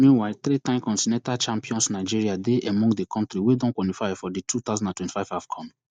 meanwhile threetime continental champions nigeria dey among di kontri wey don quanify for di two thousand and twenty-five afcon